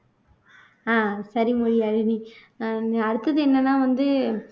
ஆஹ் சரி மொழியாழினி அஹ் அடுத்தது என்னன்னா வந்து